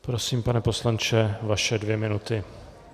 Prosím, pane poslanče, vaše dvě minuty.